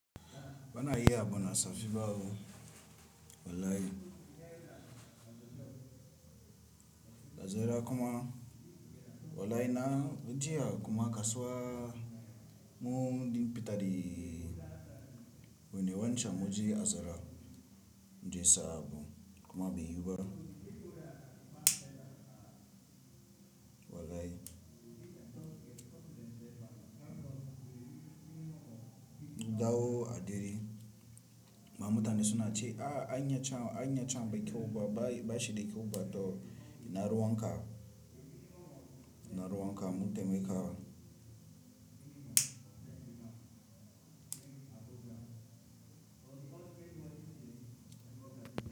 Bana iya a buna safi bawo. Wallahi. Dazara kuma. Wallahi na jiya kuma kasuwa mun din fita da wani wancan muje azara, muje saɓo kuma bai yiwu ba. Wallahi. Dawo a dere. Ma muta ne suna cewa a anya can, anyan can akwai kyaubai bashi dakyau ba to inaru wanka. Inaru wanka mu taimaka.